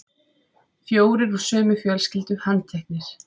Fjórir úr sömu fjölskyldu handteknir